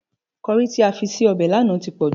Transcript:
Kọrí tí o fi sí ọbẹ̀ lánàá ti pòjù.